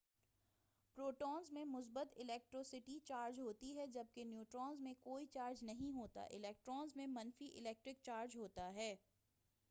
protons میں مثبت electricity charge ہوتی ہے جبکہ نیوٹرونز میں کوئی چارج نہیں ہوتا الیکٹرونز میں منفی الیکٹرک چارج ہوتا ہے